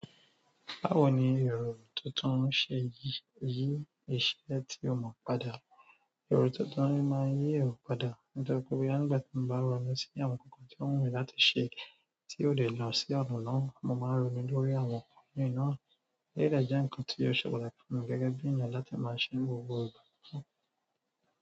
Báwo ni èrò tuntun ṣe yí iṣẹ́ tí o mọ̀ padà? Èrò tuntun ní máa ń yí èrò padà. Ní torí pé bóyá nígbà tí mo bá ronú sí àwọn nǹkan kan tí ó wù mí láti ṣe tí ò dẹ̀ lọ sí ọ̀nà náà, mo máa ń ronú lórí àwọn ǹkan mìíràn, ó yé dọ̀ jẹ́ ǹkan tí ó ṣe pàtàkì fún mi gẹ́gẹ́ bí ènìyàn láti máa ṣẹ́ gbogbo ìgbà.